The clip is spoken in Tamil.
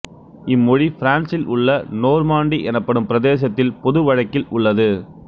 இம்மொழி பிரான்சில் உள்ள நோர்மாண்டி எனப்படும் பிரதேசத்தில் பொது வழக்கில் உள்ளது